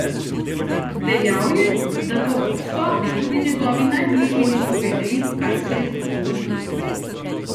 Dejal je, da po obsodbi tudi njegovi najbližji niso vedeli, kaj se je z njim zgodilo.